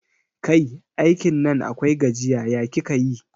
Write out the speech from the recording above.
Kai, aikin Nan akwai gajiya, ya kika yi?